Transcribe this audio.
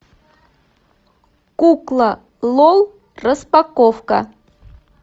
кукла лол распаковка